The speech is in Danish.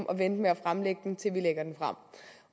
at vente med at fremlægge den til vi lægger den frem